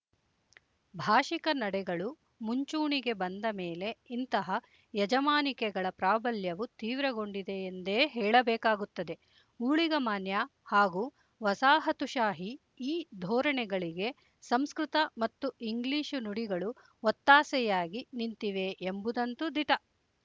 ಭಾಶಿಕ ನಡೆಗಳು ಮುಂಚೂಣಿಗೆ ಬಂದ ಮೇಲೆ ಇಂತಹ ಯಜಮಾನಿಕೆಗಳ ಪ್ರಾಬಲ್ಯವು ತೀವ್ರಗೊಂಡಿದೆ ಎಂದೇ ಹೇಳಬೇಕಾಗುತ್ತದೆ ಊಳಿಗಮಾನ್ಯ ಹಾಗೂ ವಸಾಹತುಶಾಹಿ ಈ ಧೋರಣೆಗಳಿಗೆ ಸಂಸ್ಕೃತ ಮತ್ತು ಇಂಗ್ಲಿಶು ನುಡಿಗಳು ಒತ್ತಾಸೆಯಾಗಿ ನಿಂತಿವೆ ಎಂಬುದಂತು ದಿಟ